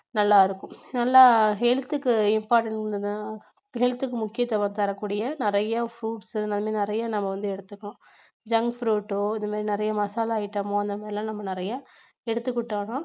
நல்லாருக்கும். நல்லா health க்கு health க்கு முக்கியத்துவம் தரக்கூடிய நிறைய fruits உ நல்ல நிறைய வந்து நம்ம எடுத்துக்கணும் junk food ஓ இந்த மாதிரி நிறைய masala item ஓ நம்ம நிறைய எடுத்துக்கிட்டோம்னா